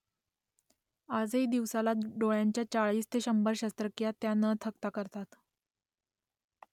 आजही दिवसाला डोळ्यांच्या चाळीस ते शंभर शस्त्रक्रिया त्या न थकता करतात